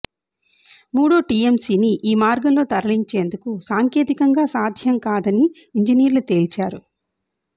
మూడో టీఎంసీని ఈ మార్గంలో తరలించేందుకు సాంకేతికంగా సాధ్యంకాదని ఇంజినీర్లు తేల్చారు